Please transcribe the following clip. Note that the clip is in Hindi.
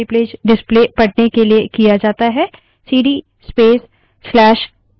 सीडी space/यूज़र/bin cd space/usr/bin टाइप करें